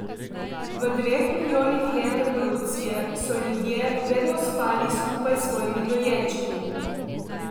V dveh milijonih let evolucije so ljudje vedno spali skupaj s svojimi dojenčki.